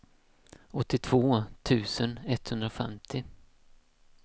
åttiotvå tusen etthundrafemtio